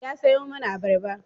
Ya sayo mana abarba.